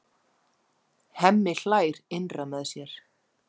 Hemmi hlær innra með sér.